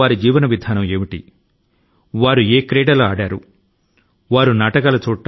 చిన్నపిల్లలు గా ఉన్నప్పుడు వారి జీవనశైలి ఎలా ఉండేదీ అని అడగండి